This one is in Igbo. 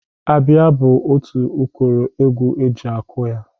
Abịa bụ otu ụkọrọ egwu e ji akụ ya.